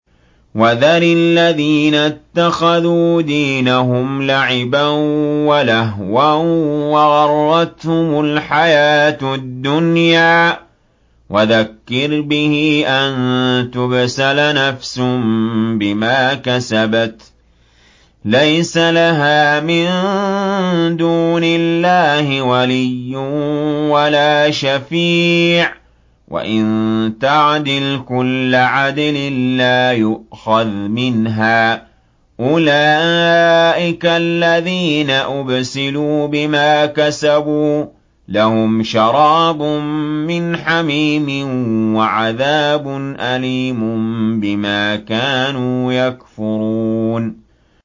وَذَرِ الَّذِينَ اتَّخَذُوا دِينَهُمْ لَعِبًا وَلَهْوًا وَغَرَّتْهُمُ الْحَيَاةُ الدُّنْيَا ۚ وَذَكِّرْ بِهِ أَن تُبْسَلَ نَفْسٌ بِمَا كَسَبَتْ لَيْسَ لَهَا مِن دُونِ اللَّهِ وَلِيٌّ وَلَا شَفِيعٌ وَإِن تَعْدِلْ كُلَّ عَدْلٍ لَّا يُؤْخَذْ مِنْهَا ۗ أُولَٰئِكَ الَّذِينَ أُبْسِلُوا بِمَا كَسَبُوا ۖ لَهُمْ شَرَابٌ مِّنْ حَمِيمٍ وَعَذَابٌ أَلِيمٌ بِمَا كَانُوا يَكْفُرُونَ